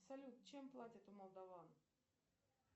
салют чем платят у молдован